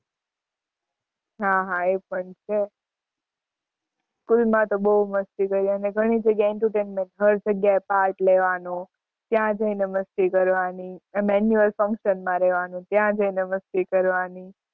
હાં હાં એ પણ છે school માં તો બહુ મસ્તી કરી અમે. ઘણી જગ્યા એ entertainment હર જગ્યા એ part લેવાનું. ત્યાં જઇ ને મસ્તી કરવાની, annual function માં રહેવાનું, ત્યાં જઇ ને મસ્તી કરવાની.